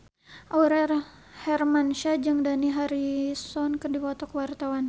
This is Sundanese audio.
Aurel Hermansyah jeung Dani Harrison keur dipoto ku wartawan